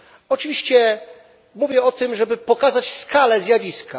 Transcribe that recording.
Oczywiście mówię o tym, żeby pokazać skalę zjawiska.